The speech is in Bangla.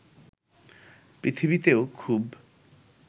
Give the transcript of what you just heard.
পৃথিবীতেও খুব